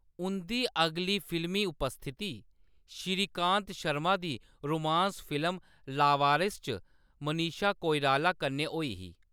उंʼदी अगली फिल्मी उपस्थिति श्रीकांत शर्मा दी रोमांस फिल्म लावारिस च मनीषा कोइराला कन्नै होई ही।